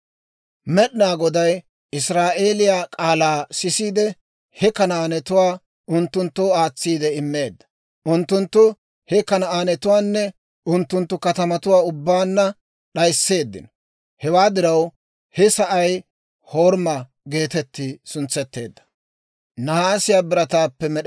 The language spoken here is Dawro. Med'inaa Goday Israa'eeliyaa k'aalaa sisiide, he Kanaanetuwaa unttunttoo aatsi immeedda; unttunttu he Kanaanetuwaanne unttunttu katamatuwaa ubbaanna d'ayisseeddino. Hewaa diraw, he sa'ay Horima geetetti suntsetteedda.